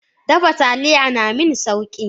Dafa Taliya naming Sauki.